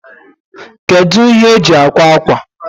Kedu ihe eji akwa akwa?